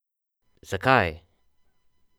Zakaj!